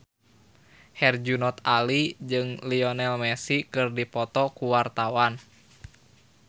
Herjunot Ali jeung Lionel Messi keur dipoto ku wartawan